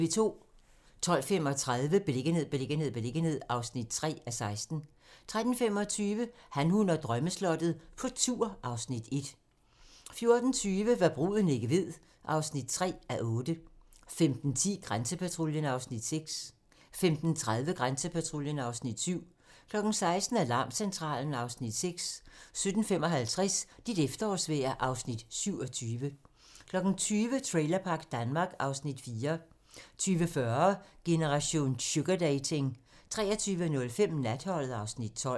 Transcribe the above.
12:35: Beliggenhed, beliggenhed, beliggenhed (3:16) 13:25: Han, hun og drømmeslottet - på tur (Afs. 1) 14:20: Hva' bruden ikke ved (3:8) 15:10: Grænsepatruljen (Afs. 6) 15:30: Grænsepatruljen (Afs. 7) 16:00: Alarmcentralen (Afs. 6) 17:55: Dit efterårsvejr (Afs. 27) 20:00: Trailerpark Danmark (Afs. 4) 20:40: Generation sugardating 23:05: Natholdet (Afs. 12)